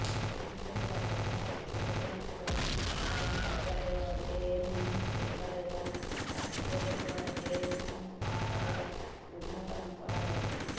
ଏଥିସହିତ ପ୍ରତାପପୁରୁଷୋତ୍ତମପୁର ଆର୍ଆଇ କାର୍ଯ୍ୟାଳୟ ANM centre ଏବଂ ବାସୁଦେଇପୁର ଏଏନ୍ଏମ୍ ସେଣ୍ଟରର ଉଦ୍ଘାଟନ କରାଯାଇଛି